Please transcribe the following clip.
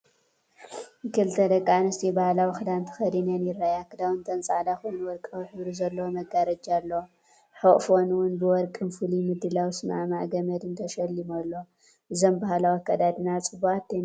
ክልተ ደቂ ኣንስትዮ ባህላዊ ክዳን ተኸዲነን ይርኣያ። ክዳውተን ጻዕዳ ኮይኑ ወርቃዊ ሕብሪ ዘለዎ መጋረጃ ኣለዎ። ሕቝፎም እውን ብወርቅን ፍሉይ ምድላው ዚሰማማዕ ገመድን ተሸሊሙ ኣሎ። እዞም ባህላዊ ኣከዳድና ጽቡቓት ዶ ይመስለኩም?